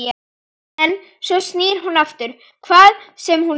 En svo snýr hún aftur, hvaðan sem hún var.